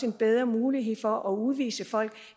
en bedre mulighed for at udvise folk